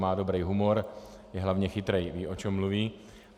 Má dobrý humor, je hlavně chytrý, ví, o čem mluví.